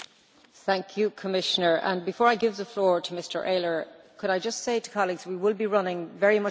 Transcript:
Before I give the floor to Mr Ehler, could I just say to colleagues that we will be running very much over time on our debates.